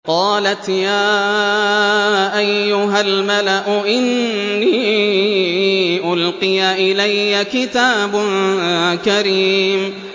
قَالَتْ يَا أَيُّهَا الْمَلَأُ إِنِّي أُلْقِيَ إِلَيَّ كِتَابٌ كَرِيمٌ